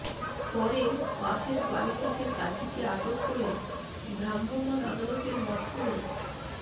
পরে পাশের বাড়ি থেকে কাজিকে আটক করে ভ্রাম্যমাণ আদালতের মাধ্যমে